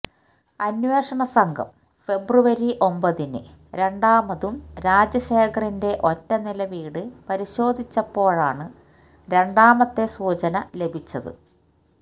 അന്വേഷണ സംഘം ഫെബ്രുവരി ഒമ്പതിന് രണ്ടാമതും രാജശേഖറിന്റെ ഒറ്റനില വീട് പരിശോധിച്ചപ്പോഴാണ് രണ്ടാമത്തെ സൂചന ലഭിച്ചത്